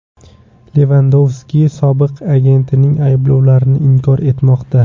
Levandovski sobiq agentining ayblovlarini inkor etmoqda.